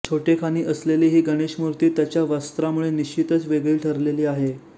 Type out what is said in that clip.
छोटेखानी असलेली ही गणेश मूर्ती त्याच्या वस्त्रामुळे निश्चितच वेगळी ठरलेली आहे